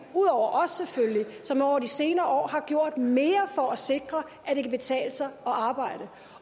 ud over os selvfølgelig som over de senere år har gjort mere for at sikre at det kan betale sig at arbejde